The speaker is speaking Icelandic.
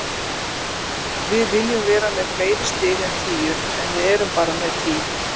Við viljum vera með fleiri stig en tíu, en við erum bara með tíu.